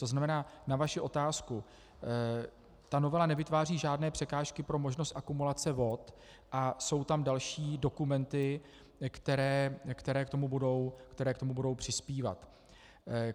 To znamená, na vaši otázku - ta novela nevytváří žádné překážky pro možnost akumulace vod a jsou tam další dokumenty, které k tomu budou přispívat.